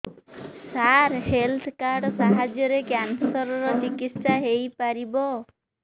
ସାର health card ସାହାଯ୍ୟରେ cancer ର ଚିକିତ୍ସା ହେଇପାରିବ